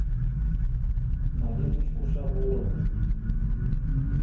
мариночку шабурову